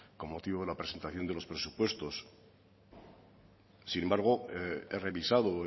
con motivo de la presentación de los presupuestos sin embargo he revisado